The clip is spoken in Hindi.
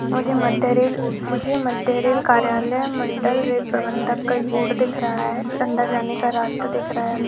मुझे मध्य रेल मुझे मध्य रेल कार्यालय मण्डल रेल प्रबंधक का बोर्ड दिख रहा है अंदर जाने का रास्ता दिख रहा है।